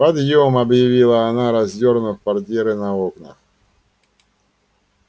подъём объявила она раздёрнув портьеры на окнах